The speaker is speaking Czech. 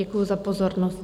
Děkuji za pozornost.